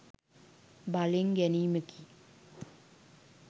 බලෙන් ගැනීමකි.